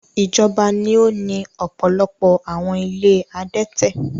Ijọba ni o ni ọpọlọpọ awọn ìlé adẹtẹ